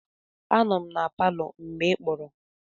Anọ m na palọ mgbe ị kpọrọ.